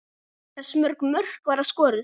Hversu mörg mörk verða skoruð?